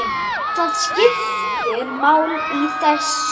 Það skiptir máli í þessu.